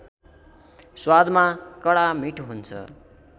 स्वादमा कडा मीठो हुन्छ